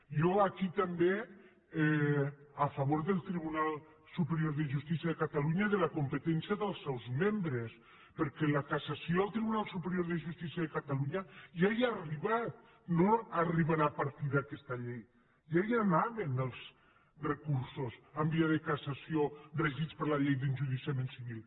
jo aquí també a favor del tribunal superior de justícia de catalunya i de la competència dels seus membres perquè la cassació al tribunal superior de justícia de catalunya ja hi ha arribat no arribarà a partir d’aquesta llei ja hi anaven els recursos en via de cassació regits per la llei d’enjudiciament civil